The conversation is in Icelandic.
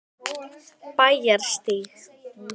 Bæjarstíg